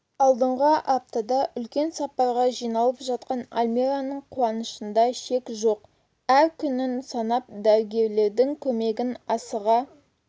алдағы аптада үлкен сапарға жиналып жатқан альмираның қуанышында шек жоқ әр күнін санап дәрігерлердің көмегін асыға